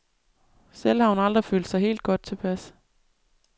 Selv har hun aldrig følt sig helt godt tilpas.